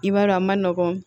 I b'a dɔn a ma nɔgɔn